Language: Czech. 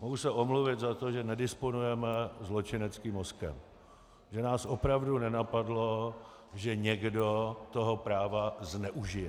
Mohu se omluvit za to, že nedisponujeme zločineckým mozkem, že nás opravdu nenapadlo, že někdo toho práva zneužije.